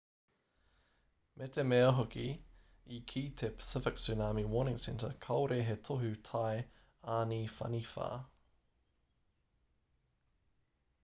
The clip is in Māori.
me te mea hoki i kī te pacific tsunami warning center kāore he tohu tai āniwhaniwha